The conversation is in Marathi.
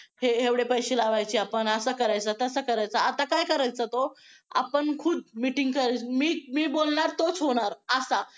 हे एवढे पैसे लावायचे आपण असं करायचं तसं करायचं आता काय करायचा तो आपण खुद्द meeting मी बोलणार तोच होणार असा.